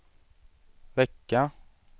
vecka